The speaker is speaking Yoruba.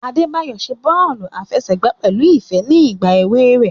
Adebayo ṣe bọọlu afẹsẹgba pẹlu ifẹ ni igba ewe rẹ.